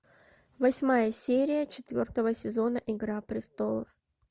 восьмая серия четвертого сезона игра престолов